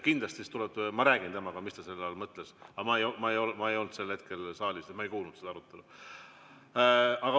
Kindlasti ma räägin temaga, mis ta selle all mõtles, aga ma ei olnud sel hetkel saalis ja ma ei kuulnud seda arutelu.